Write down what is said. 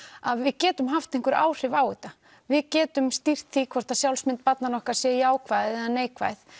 að við getum haft einhver áhrif á þetta við getum stýrt því hvort að sjálfsmynd barnanna okkar sé jákvæð eða neikvæð